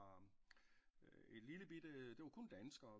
Et lille bitte det var kun danskere